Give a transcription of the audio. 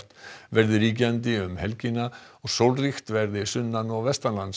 verði ríkjandi um helgina og sólríkt verði sunnan og